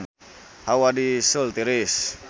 Hawa di Seoul tiris